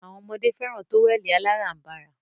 Awọn ọmọdé fẹràn tówẹ̀lì aláránbara.